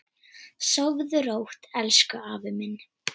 Sofðu rótt elsku afi minn.